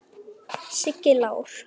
Siggi Lár.